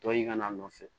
Tɔ ye ka n'a nɔfɛ